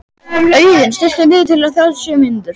Auðunn, stilltu niðurteljara á þrjátíu og sjö mínútur.